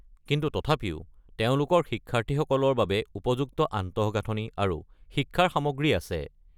কিন্তু তথাপিও তেওঁলোকৰ শিক্ষাৰ্থীসকলৰ বাবে উপযুক্ত আন্তঃগাঁথনি আৰু শিক্ষাৰ সামগ্ৰী আছে।